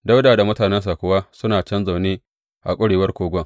Dawuda da mutanensa kuwa suna can zaune a ƙurewar kogon.